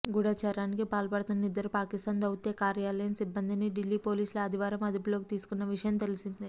గూఢచర్యానికి పాల్పడుతున్న ఇద్దరు పాకిస్థాన్ దౌత్య కార్యాలయం సిబ్బందిని ఢిల్లీ పోలీసులు ఆదివారం అదుపులోకి తీసుకున్న విషయం తెలిసిందే